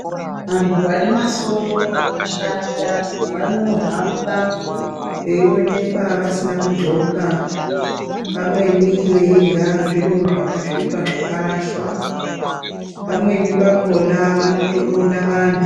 Antu ane masoro akashata vanohamba veionekwa vasiya kundxoka pamweni veirya zviro zvakasvioa zvakarashwa, pamweni pakona vanotoponda vantu.